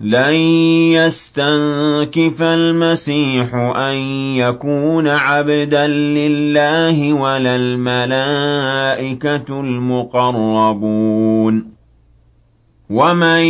لَّن يَسْتَنكِفَ الْمَسِيحُ أَن يَكُونَ عَبْدًا لِّلَّهِ وَلَا الْمَلَائِكَةُ الْمُقَرَّبُونَ ۚ وَمَن